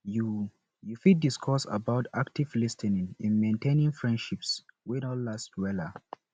you you fit discuss about active lis ten ing in maintaining friendships wey don last wella